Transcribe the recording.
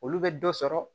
Olu bɛ dɔ sɔrɔ